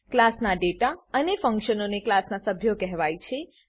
ક્લાસનાં data અને ફંક્શનોને ક્લાસનાં સભ્યો કહેવાય છે